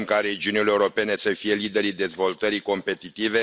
Vrem ca regiunile europene să fie liderii dezvoltării competitive.